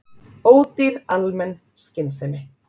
Ódýr almenn skynsemi